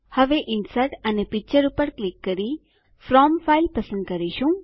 હવે ઇન્સર્ટ અને પિક્ચર પર ક્લિક કરી ફ્રોમ ફાઇલ પસંદ કરીશું